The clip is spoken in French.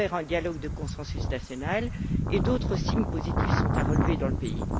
Il a ouvert un dialogue de consensus national et d'autres signes positifs sont à relever dans le pays.